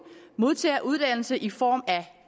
modtager uddannelse i form af